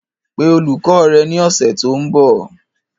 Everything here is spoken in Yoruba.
Pe olùkọ́ rẹ ní ọ̀sẹ̀ tó ń bọ̀